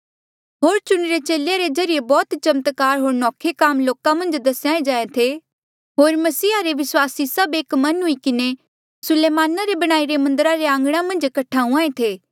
होर चुणिरे चेले रे ज्रीए बौह्त चमत्कार होर नौखे काम लोका मन्झ दसेया जाहें थे होर मसीहा रे विस्वासी सभ एक मन हुई किन्हें सुलेमाना रे बणाईरे मन्दरा रे आंघणा मन्झ कठे हुंहां ऐें थे